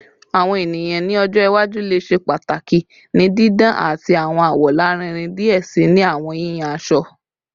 Awọn eniyan ni ọjọ iwaju le ṣe pataki ni didan ati awọn awọ larinrin diẹ sii ni awọn yiyan aṣọ